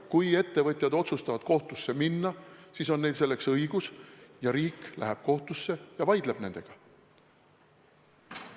Kui ettevõtjad otsustavad kohtusse minna, siis neil on selleks õigus, ja riik läheb kohtusse ja vaidleb nendega.